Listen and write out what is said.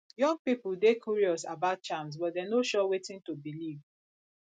young pipo dey curious about charms but dem no sure wetin to believe